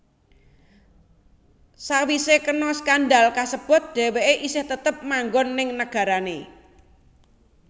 Sawisé kena skandal kasebut dheweké esih tetep manggon ning nagarané